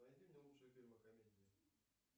найди мне лучшие фильмы комедии